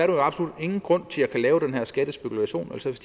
jo absolut ingen grund til at kunne lave den her skattespekulation altså hvis